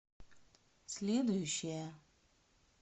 следующая